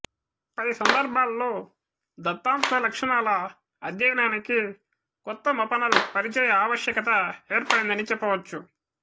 పై సందర్భాలలో దత్తాంశ లక్షణాల అధ్యయనానికి కొత్త మపనల్ పరిచయ ఆవశ్యకత ఏర్పడిందని చెప్పవచ్చు